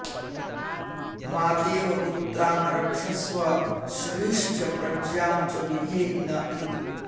मातेव पुत्रान् रक्षस्व श्रीश्च प्रज्ञां च विधेहि न इति